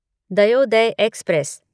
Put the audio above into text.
Dayodaya express